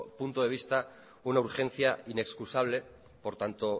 punto de vista una urgencia inexcusable por tanto